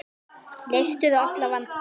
Leystur allra vandi.